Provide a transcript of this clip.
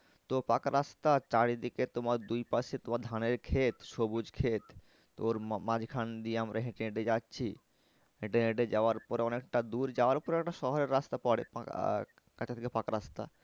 তো পাকা রাস্তা চারিদিকে তোমার দুই পাশে তোমার ধানের খেত সবুজ খেত তো ওর মাঝখান দিয়ে আমরা হেঁটে হেঁটে যাচ্ছি। হেঁটে হেঁটে যাওয়ার পরে অনেকটা দূর যাওয়ার পরে একটা শহরের রাস্তা পরে আহ কাঁচা থেকে পাকা রাস্তা।